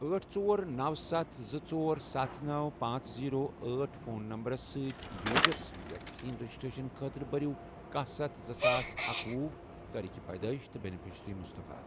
أٹھ، ژور، نوَ، ستھ، زٕ، ژۄر، ستھ، نو، پانژھ، زیرو، أٹھ فون نمبرٕ سۭتۍ یوزر سٕنٛز ویکسیٖن رجسٹریشن خٲطرٕ بٔرِو کاہ ستھ زٕساس اکۄہُ تٲریٖخ پیدٲئش تہٕ بینِفیشرِی مُصطفیٰ۔